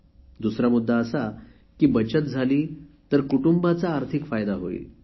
दुसरा मुद्दा असा की बचत झाली तर कुटूंबाचा आर्थिक फायदा होईल